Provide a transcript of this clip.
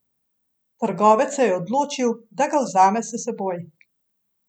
Trgovec se je odločil, da ga vzame s seboj.